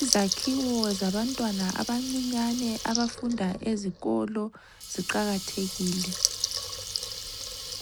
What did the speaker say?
Izakhiwo zabantwana abancinyane abafunda ezikolo ziqakathekile.